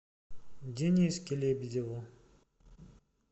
дениске лебедеву